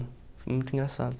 Muito engraçado.